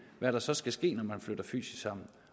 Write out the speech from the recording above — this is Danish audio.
hvad der så skal ske når man flytter fysisk sammen